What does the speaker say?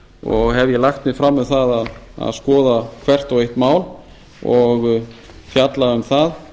og hef ég lagt mig fram um það að skoða hvert og eitt mál og fjalla um það